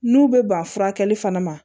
N'u bɛ ban furakɛli fana ma